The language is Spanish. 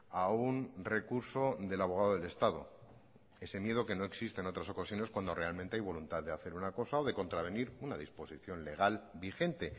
a un recurso del abogado del estado ese miedo que no existe en otras ocasiones cuando realmente hay voluntad de hacer una cosa o de contravenir una disposición legal vigente